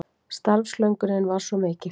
Starfslöngunin var svo mikil.